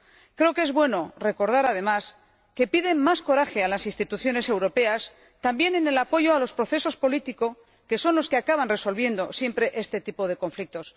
Creo que es bueno recordar, además, que se pide más coraje a las instituciones europeas también en el apoyo a los procesos políticos, que son los que acaban resolviendo, siempre, este tipo de conflictos.